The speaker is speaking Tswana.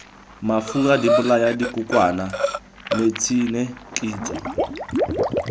mafura dibolaya dikokwana metšhine kitso